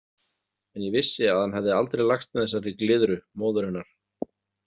En ég vissi að hann hefði aldrei lagst með þessari glyðru, móður hennar.